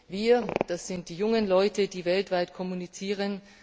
Wir, das sind die jungen Leute, die weltweit kommunizieren.